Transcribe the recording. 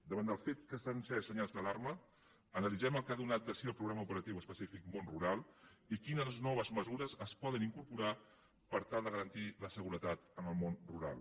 davant del fet que s’han encès senyals d’alarma analitzem el que ha donat de si el programa operatiu específic del món rural i quines noves mesures es poden incorporar per tal de garantir la seguretat en el món rural